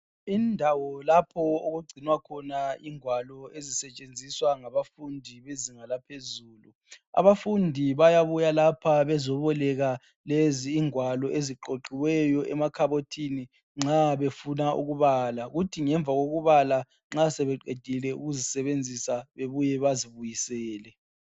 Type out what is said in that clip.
Indawo lapho okugcinwa khona ingwalo ezisetshenziswa ngabafundi bezinga laphezulu abafundi bayabuya lapha bezoboleka lezi ingwalo eziqoqiweyo emakhabothini nxa befuna ukubala kuthi ngemva kokubala sebeqedile ukuzisebenzisa bebuye bazibuyisele.